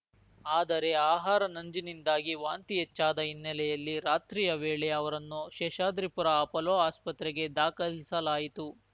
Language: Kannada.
ಆದರೆ ಆಹಾರ ನಂಜಿನಿಂದಾಗಿ ವಾಂತಿ ಹೆಚ್ಚಾದ ಹಿನ್ನೆಲೆಯಲ್ಲಿ ರಾತ್ರಿಯ ವೇಳೆ ಅವರನ್ನು ಶೇಷಾದ್ರಿಪುರ ಆಪೋಲೋ ಆಸ್ಪತ್ರೆಗೆ ದಾಖಲಿಸಲಾಯಿತು